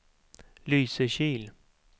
Lysekil